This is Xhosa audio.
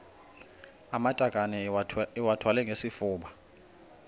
amatakane iwathwale ngesifuba